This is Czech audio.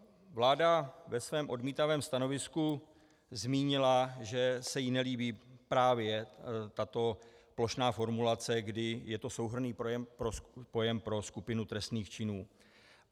Vláda ve svém odmítavém stanovisku zmínila, že se jí nelíbí právě tato plošná formulace, kdy je to souhrnný pojem pro skupinu trestných činů.